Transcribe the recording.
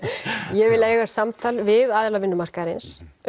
ég vil eiga samtal við aðila vinnumarkaðarins